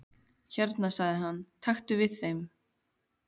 Hérna sagði hann, taktu við þeim